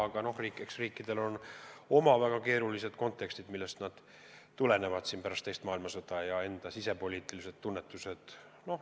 Aga eks riikidel on omad väga keerulised kontekstid, mis tulenevad teise maailmasõja tagajärgedest ja iga riigi sisepoliitilistest tunnetustest.